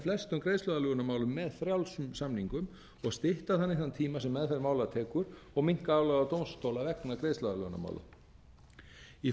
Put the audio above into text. flestum greiðsluaðlögunarmálum með frjálsum samningum og stytta þannig þann tíma sem meðferð mála tekur og minnka álagið á dómstóla vegna greiðsluaðlögunarmála í